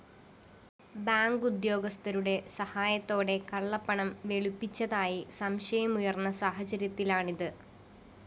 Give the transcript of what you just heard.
bank ഉദ്യോഗസ്ഥരുടെ സഹായത്തോടെ കള്ളപ്പണം വെളുപ്പിച്ചതായി സംശയമുയര്‍ന്ന സാഹചര്യത്തിലാണിത്